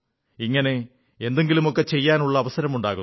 ഇങ്ങനെ എന്തെങ്കിലുമൊക്കെ ചെയ്യാനുള്ള അവസരമുണ്ടാകുന്നു